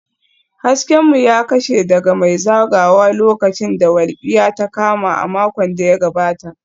Hasken mu ya kashe daga mai zagayawa lokacin da walƙiya ta kama a makon da ya gabata